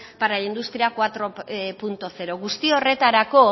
para la industria cuatro punto cero guzti horretarako